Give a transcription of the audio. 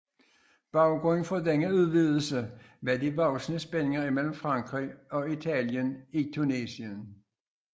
Baggrunden for denne udvidelse var de voksende spændinger mellem Frankrig og Italien i Tunesien